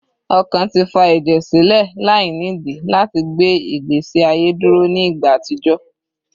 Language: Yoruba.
Ọkàn ti fa ẹjẹ silẹ lainidii lati gbe igbesi aye duro ni igba atijọ